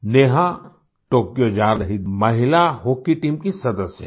नेहाTokyoजा रही महिला hockey team की सदस्य हैं